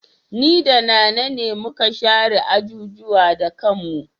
Ni da Nana ne muka share ajujuwa da kanmu.